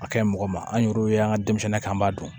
A ka ɲi mɔgɔ ma an yɛru ye an ka denmisɛnnin kan an b'a dun